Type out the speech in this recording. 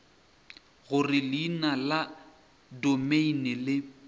gore leina la domeine le